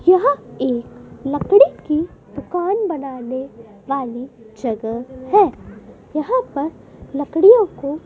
यह एक लकड़ी की दुकान बनाने वाली जगह है यहां पर लकड़ियों को।